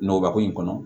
Nɔrko in kɔnɔ